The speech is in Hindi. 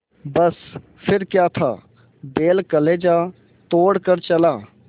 बस फिर क्या था बैल कलेजा तोड़ कर चला